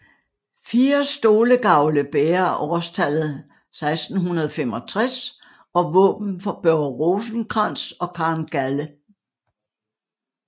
Fire stolegavle bærer årstallet 1665 og våben for Børge Rosenkrantz og Karen Galde